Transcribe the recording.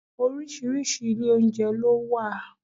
Oríṣiríṣi ilé oúnjẹ ló wà.